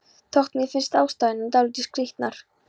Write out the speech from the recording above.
Þótt mér finnist ástæðurnar dálítið skrítnar.